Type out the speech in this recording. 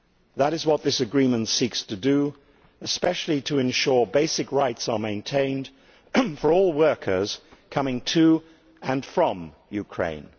That is what this agreement seeks to do, and especially to ensure that basic rights are maintained for all workers coming to and from Ukraine.